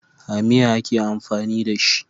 A miya ake amfani da shi.